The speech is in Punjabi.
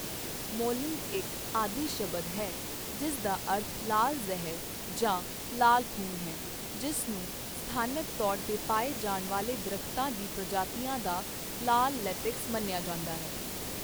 ਮੌਲਿੰਗ ਇੱਕ ਆਦਿ ਸ਼ਬਦ ਹੈ ਜਿਸ ਦਾ ਅਰਥ ਲਾਲ ਜ਼ਹਿਰ ਜਾਂ ਲਾਲ ਖੂਨ ਹੈ, ਜਿਸ ਨੂੰ ਸਥਾਨਕ ਤੌਰ 'ਤੇ ਪਾਏ ਜਾਣ ਵਾਲੇ ਦਰੱਖਤਾਂ ਦੀ ਪ੍ਰਜਾਤੀਆਂ ਦਾ ਲਾਲ ਲੇਟੈਕਸ ਮੰਨਿਆ ਜਾਂਦਾ ਹੈ।